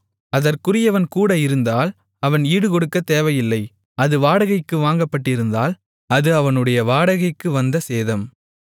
அதற்குரியவன் கூட இருந்தால் அவன் ஈடுகொடுக்கத் தேவையில்லை அது வாடகைக்கு வாங்கப்பட்டிருந்தால் அது அவனுடைய வாடகைக்கு வந்த சேதம்